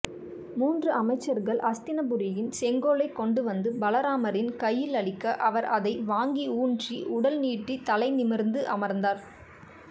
மூன்று அமைச்சர்கள் அஸ்தினபுரியின் செங்கோலை கொண்டுவந்து பலராமரின் கையிலளிக்க அவர் அதை வாங்கி ஊன்றி உடல்நீட்டி தலைநிமிர்ந்து அமர்ந்தார்